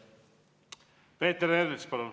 Peeter Ernits, palun!